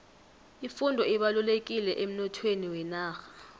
ifundo ibalulekile emnothweni wenarha